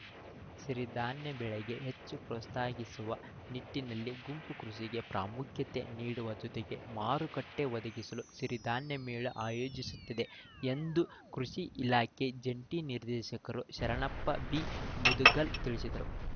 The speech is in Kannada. ಸಿರಿಧಾನ್ಯ ಬೆಳೆಗೆ ಹೆಚ್ಚು ಪ್ರೋತ್ಸಾಗಿಸುವ ನಿಟ್ಟಿನಲ್ಲಿ ಗುಂಪು ಕೃಷಿಗೆ ಪ್ರಾಮುಖ್ಯತೆ ನೀಡುವ ಜೊತೆಗೆ ಮಾರುಕಟ್ಟೆಒದಗಿಸಲು ಸಿರಿಧಾನ್ಯ ಮೇಳ ಆಯೋಜಿಸುತ್ತಿದೆ ಎಂದು ಕೃಷಿ ಇಲಾಖೆ ಜಂಟಿ ನಿರ್ದೇಶಕರು ಶರಣಪ್ಪ ಬಿಮುದಗಲ್‌ ತಿಳಿಸಿದರು